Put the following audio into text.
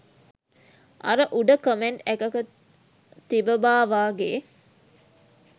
අර උඩ කමෙන්ට් එකක තිබබා වගෙ